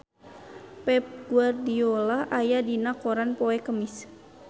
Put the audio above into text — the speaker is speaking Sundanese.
Pep Guardiola aya dina koran poe Kemis